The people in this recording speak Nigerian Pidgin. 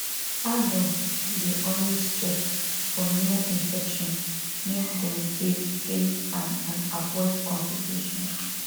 adults dey always check for new infections make dem dey dey fine and avoid complications